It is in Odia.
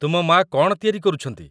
ତୁମ ମା' କ'ଣ ତିଆରି କରୁଛନ୍ତି?